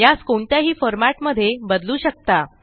यास कोणत्याही फॉर्मॅट मध्ये बदलू शकता